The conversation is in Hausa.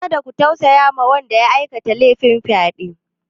Kada ku tausaya wa wanda ya aikata lefin fyaɗe!